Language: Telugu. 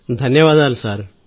ధన్యవాదాలు సార్